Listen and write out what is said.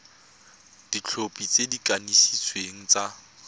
dikhopi tse di kanisitsweng tsa